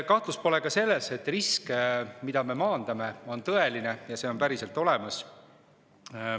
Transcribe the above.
Kahtlust pole ka selles, et risk, mida me maandame, on tõeline, see on päriselt olemas.